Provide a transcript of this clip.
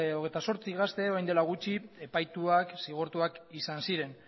hogeita zortzi gazte orain dela gutxi epaituak zigortuak izan ziren